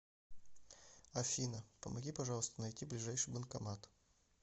афина помоги пожалуйста найти ближайший банкомат